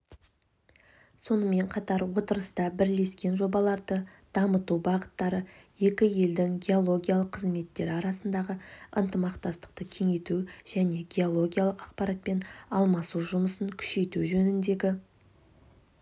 сонымен қатар отырыста бірлескен жобаларды дамыту бағыттары екі елдің геологиялық қызметтері арасындағы ынтымақтастықты кеңейту және геологиялық ақпаратпен алмасу жұмысын күшейту жөніндегі